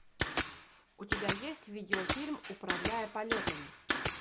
у тебя есть видеофильм управляя полетами